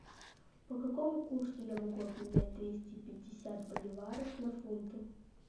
по какому курсу я могу обменять двести пятьдесят боливаров на фунты